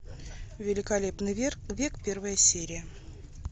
великолепный век первая серия